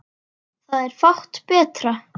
Það er fátt betra.